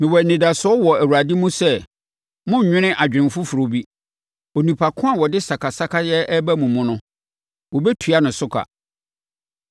Mewɔ anidasoɔ wɔ Awurade mu sɛ morennwene adwene foforɔ bi. Onipa ko a ɔde sakasakayɛ reba mo mu no, wɔbɛtua ne so ka.